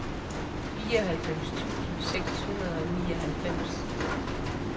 fireoghalvfems tusind seks hundrede og nioghalvfems